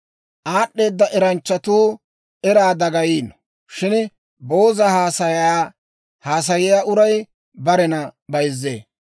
Aad'd'eeda eranchchatuu eraa dagayiino; shin booza haasayaa haasayiyaa uray barena bayzzee.